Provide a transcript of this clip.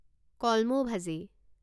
কলমৌ ভাজি